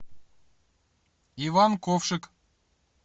иван ковшик